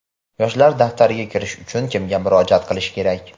Yoshlar daftariga kirish uchun kimga murojaat qilish kerak?.